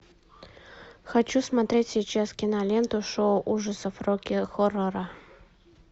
хочу смотреть сейчас киноленту шоу ужасов рокки хоррора